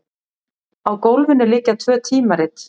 Á gólfinu liggja tvö tímarit.